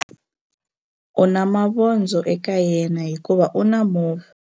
U na mavondzo eka yena hikuva u na movha.